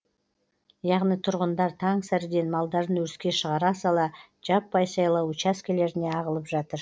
яғни тұрғындар таң сәріден малдарын өріске шығара сала жаппай сайлау учаскелеріне ағылып жатыр